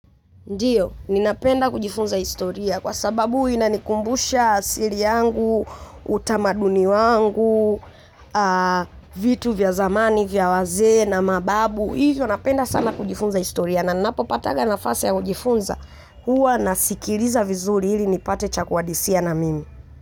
Ndiyo, ninapenda kujifunza historia kwa sababu inanikumbusha asili yangu, utamaduni wangu, vitu vya zamani, vya wazee na mababu. Hivyo, ninapenda sana kujifunza historia na ninapopatanga nafasi ya kujifunza huwa nasikiliza vizuri ili nipate cha kuadisia na mimi.